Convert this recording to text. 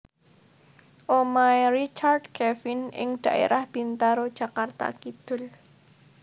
Omahe Richard Kevin ing dhaerah Bintaro Jakarta Kidul